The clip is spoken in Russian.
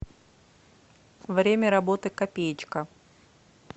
время работы копеечка